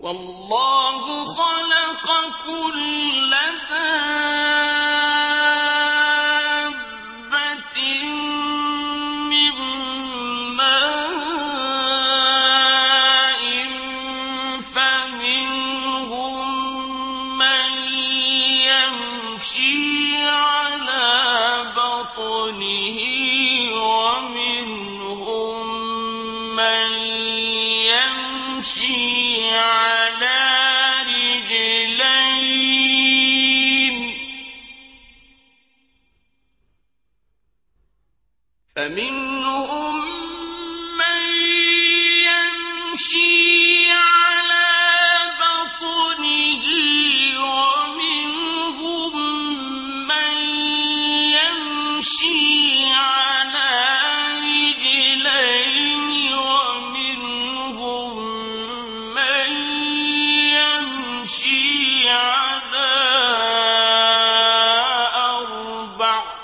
وَاللَّهُ خَلَقَ كُلَّ دَابَّةٍ مِّن مَّاءٍ ۖ فَمِنْهُم مَّن يَمْشِي عَلَىٰ بَطْنِهِ وَمِنْهُم مَّن يَمْشِي عَلَىٰ رِجْلَيْنِ وَمِنْهُم مَّن يَمْشِي عَلَىٰ أَرْبَعٍ ۚ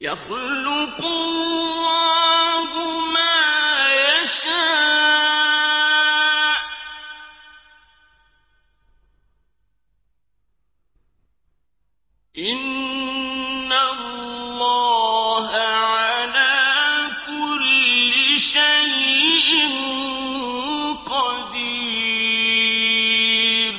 يَخْلُقُ اللَّهُ مَا يَشَاءُ ۚ إِنَّ اللَّهَ عَلَىٰ كُلِّ شَيْءٍ قَدِيرٌ